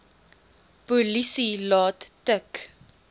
polisie laat tik